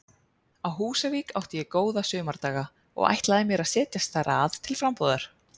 Á Húsavík átti ég góða sumardaga og ætlaði mér að setjast þar að til frambúðar.